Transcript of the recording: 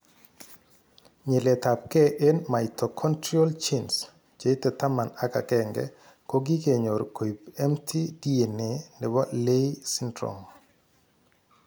Nyilet ab gei en mitochondrial genes cheite taman ak agenge kokigenyor koib mtDNA nebo Leigh syndrome